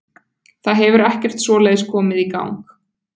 Það hefur ekkert svoleiðis komið í gang.